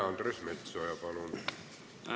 Andres Metsoja, palun!